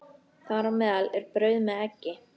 Þar á meðal er brauð með eggi.